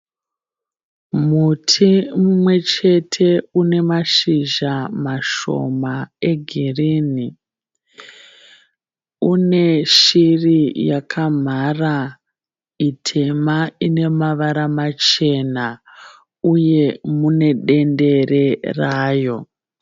Muti mumwe chete une mashizha mashoma egirini. Une shiri yakamhara itema ine mavara machena uye mune dendere rayo.